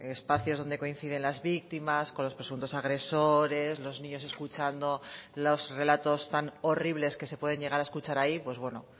espacios donde coinciden las víctimas con los presuntos agresores los niños escuchando los relatos tan horribles que se pueden llegar a escuchar ahí pues bueno